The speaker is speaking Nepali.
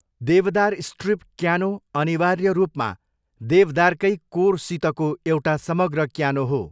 देवदार स्ट्रिप क्यानो अनिवार्य रूपमा देवदारकै कोरसितको एउटा समग्र क्यानो हो।